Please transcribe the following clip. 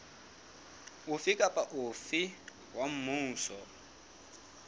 ofe kapa ofe wa mmuso